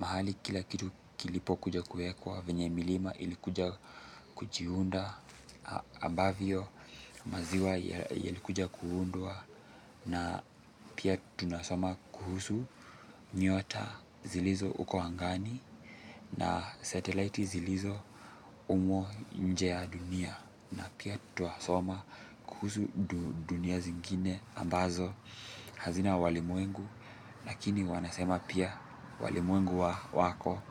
mahali kila kitu kilipokuja kuwekwa venye milima ilikuja kujiunda ambavyo maziwa yalikuja kuundwa na pia tunasoma kuhusu nyota zilizo huko angani na satellite zilizo humo nje ya dunia na pia twasoma kuhusu dunia zingine ambazo hazina walimwengu lakini wanasema pia walimwengu wako.